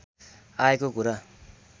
आएको कुरा